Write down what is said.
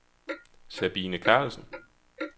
Sabine Carlsen